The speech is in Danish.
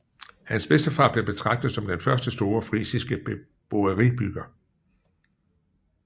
Hans bedstefar blev betragtet som den første store frisiske boeierbyggere